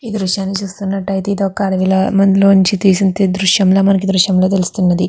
ఈ దృశ్యాన్ని చూస్తునట్టయితే ఇదొక అడవి లో నించి తీసిన దృశ్యం లా మనకి ఈ దృశ్యం లో తెలుస్తున్నది.